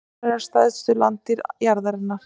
Fílar eru stærstu landdýr jarðarinnar.